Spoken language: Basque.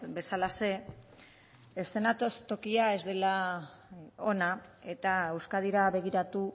bezalaxe eskenatokia ez dela ona eta euskadira begiratu